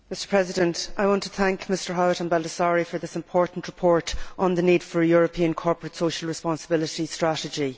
Mr President, I want to thank Mr Howitt and Mr Baldassarre for this important report on the need for a European corporate social responsibility strategy.